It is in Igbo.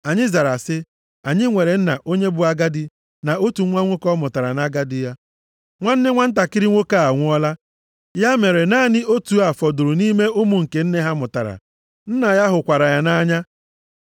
Anyị zara sị, ‘Anyị nwere nna onye bụ agadi, na otu nwa nwoke ọ mụtara nʼagadi ya. Nwanne nwantakịrị nwoke a anwụọla, ya mere naanị otu a fọdụrụ nʼime ụmụ nke nne ha mụtara. Nna ya hụkwara ya nʼanya.’